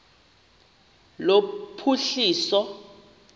lophuhliso